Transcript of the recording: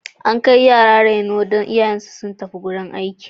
An kai yara gidan reno don iyayensu suna zuwa aiki.